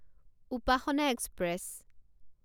Upasana express